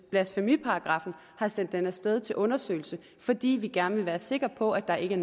blasfemiparagraffen har sendt den af sted til undersøgelse fordi vi gerne vil være sikre på at der ikke